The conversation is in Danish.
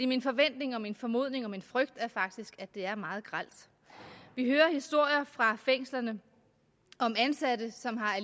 min forventning og min formodning og min frygt er faktisk at det er meget grelt vi hører historier fra fængslerne om ansatte som har